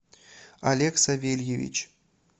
олег савельевич